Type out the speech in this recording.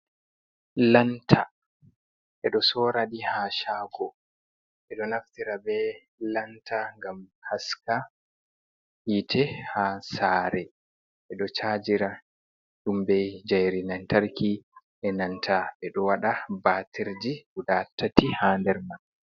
Lanta ɓe ɗo soora ɗi haa shaago, ɓe ɗo naftira bee lanta ngam haska yiite, haa saare, ɓe ɗo cajira ɗum bee njairi lantarki, e nanta e ɗo waɗa batirji, guda tati, haa nder man.